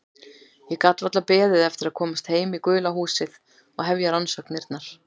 Ég gat varla beðið eftir að komast heim í gula húsið og hefja rannsóknirnar.